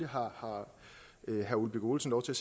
har herre ole birk olesen lov til